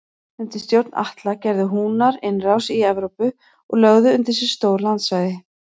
Undir stjórn Atla gerðu Húnar innrás í Evrópu og lögðu undir sig stór landsvæði.